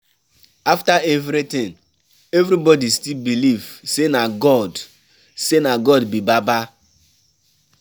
After everything, everybody still believe say na God say na God be baba.